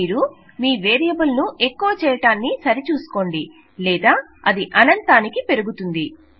మీరు మీ వేరియబుల్ ను ఎక్కువ చేయడం సరి చూసుకోండి లేదా అది అనంతానికి హెచ్చుతుంది